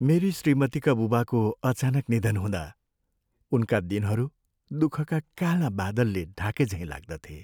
मेरी श्रीमतीका बुबाको अचानक निधन हुँदा उनका दिनहरू दुःखका काला बादलले ढाकेझैँ लाग्दथे।